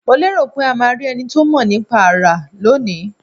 Mo lérò pé ma rí enito mo nípa ara lónìí